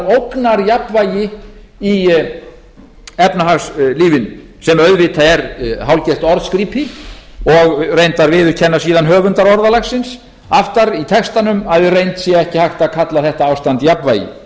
ógnarjafnvægi í efnahagslífinu sem auðvitað er hálfgert orðskrípi og reyndar viðurkenna síðan höfundar orðalagsins aftar í textanum að í reynd sé ekki hægt að kalla þetta ástand